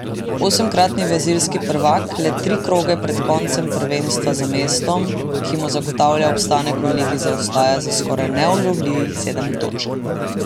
Osemkratni brazilski prvak le tri kroge pred koncem prvenstva za mestom, ki mu zagotavlja obstanek v ligi zaostaja za skoraj neulovljivih sedem točk.